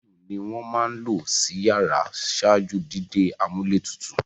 Fáànù ni wọ́n máa ń lò sí iyàrá ṣáájú dídé amúlétutù.